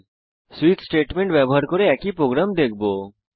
আমরা সুইচ ব্যবহার করে একই প্রোগ্রাম দেখবো